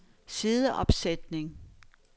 sideopsætning